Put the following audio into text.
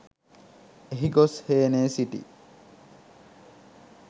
එහි ගොස් හේනේ සිටි